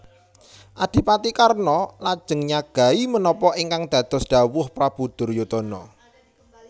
Adipati Karna lajeng nyagahi menapa ingkang dados dhawuh Prabu Duryudana